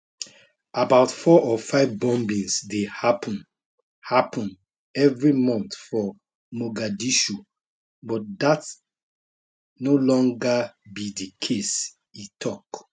about four or five bombings dey happun happun evri month for mogadishu but dat no longer be di case e tok